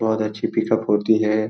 बहुत अच्छी पिकअप होती है।